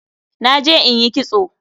Naje in yi kitso